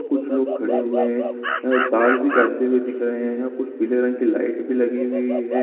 कुछ लोग खड़े हुए है और तार भी चलते हुए दिख रहे है कुछ पिले रंग की लाइट भी लगी हुई हैं।